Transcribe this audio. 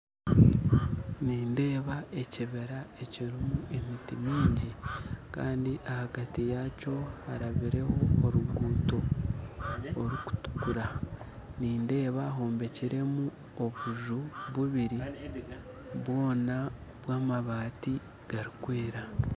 Nindeeba ekibira ekirimu emiti mingi kandi ahagati yaakyo harabireho oruguuto orukutukura nindeeba hombekiremu obunju bubiri bwona bw'amabaati garikwera